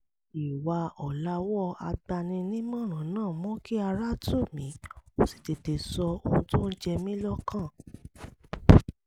ìwà ọ̀làwọ́ agbaninímọ̀ràn náà mú kí ara tù mí ó sì tètè sọ ohun tó ń jẹ mí lọ́kàn